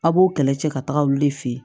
A b'o kɛlɛ cɛ ka taga olu de fe yen